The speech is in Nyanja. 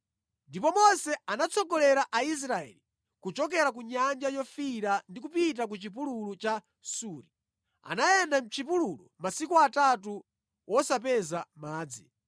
Ndipo Mose anatsogolera Israeli kuchoka ku nyanja yofiira ndi kupita ku chipululu cha Suri. Anayenda mʼchipululu masiku atatu wosapeza madzi.